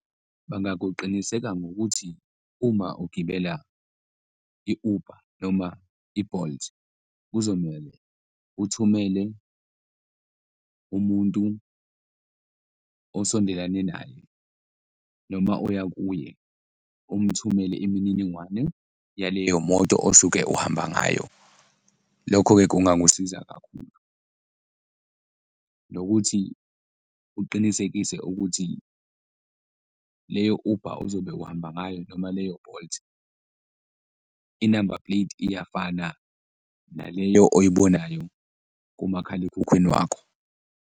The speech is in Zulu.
Bangakuqiniseka ngokuthi uma ugibela i-Uber noma i-Bolt, kuzomele uthumele umuntu osondelane naye noma oya kuye, umthumele imininingwane yaleyo moto osuke ohamba ngayo, lokho-ke kungangusiza kakhulu. Nokuthi uqinisekise ukuthi leyo Uber ozobe uhamba ngayo noma leyo Bolt, i-number plate iyafana naleyo oyibonayo kumakhalekhukhwini wakho.